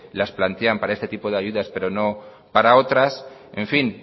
las plantean para este tipo de ayudas pero no para otras en fin